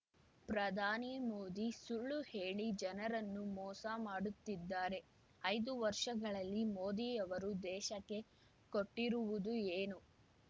ಪ್ರಧಾನಿ ಮೋದಿ ಸುಳ್ಳು ಹೇಳಿ ಜನರನ್ನು ಮೋಸ ಮಾಡುತ್ತಿದ್ದಾರೆ ಐದು ವರ್ಷಗಳಲ್ಲಿ ಮೋದಿಯವರು ದೇಶಕ್ಕೆ ಕೊಟ್ಟಿರುವುದು ಏನು